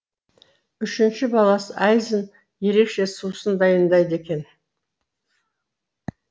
үшінші баласы айзын ерекше сусын дайындайды екен